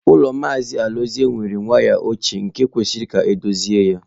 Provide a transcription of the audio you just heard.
Ụlọ Maazị Alozie were waya ochie nke kwesịrị ka edochie ya.